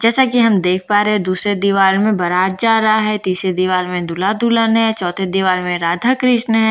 जैसा कि हम देख पा रहे हैं दूसरे दीवार में बारात जा रहा है तीसरे दीवार में दूल्‍हा-दुल्‍हन है चौथे दीवार में राधाकृष्‍ण है --